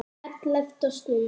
ELLEFTA STUND